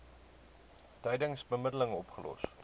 tydens bemiddeling opgelos